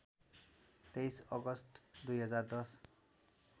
२३ August २०१०